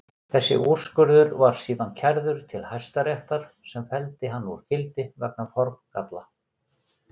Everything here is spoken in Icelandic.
Þessi úrskurður var síðan kærður til Hæstaréttar sem felldi hann úr gildi vegna formgalla.